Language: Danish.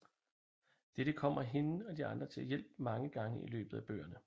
Dette kommer hende og de andre til hjælp mange gange i løbet af bøgerne